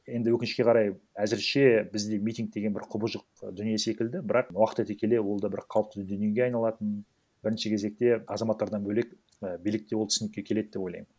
енді өкінішке қарай әзірше бізде митинг деген бір құбыжық дүние секілді бірақ уақыт өте келе ол да бір қалыпты дүниеге айналатынын бірінші кезекте азаматтардан бөлек і билік те ол түсінікке келеді деп ойлаймын